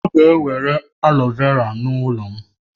Ha ga-ewere aloe vera n'ụlọ m